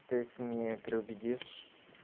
ты их не переубедишь